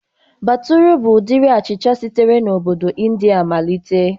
Batụra bụ ụdịrị achịcha sitere na obodo Ịndia malịte